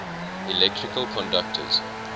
electrical conductors